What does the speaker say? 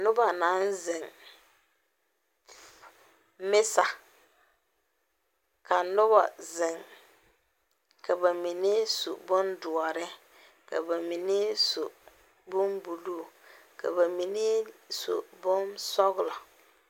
Noba naŋ zeŋ mesa, ka noba zeŋ, ka ba mine su bondoɔre, ka ba mine su bon buluu ka ba mine su bonsɔglɔ